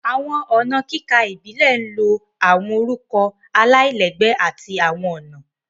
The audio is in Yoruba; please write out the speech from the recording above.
Awọn ọna kika Ibile ń Lo awọn orukọ alailẹgbẹ ati awọn ọna